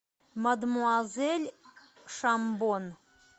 мадемуазель шамбон